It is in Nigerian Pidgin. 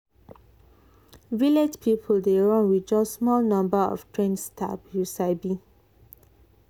village hospital dey run with just small number of trained staff you sabi.